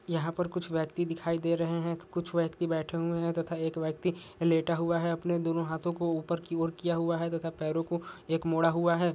यहां पे कुछ व्यक्ति दिखाई दे रहे है कुछ व्यक्ति बैठा हुए है तथा एक व्यक्ति लेटा हुआ है अपने दोनों हाथो को ऊपर की और किया हुआ है तथा पैरो को एक मोड़ा हुआ है।